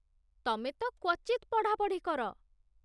ତମେ ତ କ୍ଵଚିତ୍ ପଢ଼ାପଢ଼ି କର